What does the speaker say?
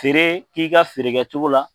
Feere k'i ka feere kɛcogo la.